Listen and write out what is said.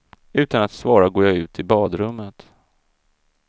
Utan att svara går jag ut i badrummet.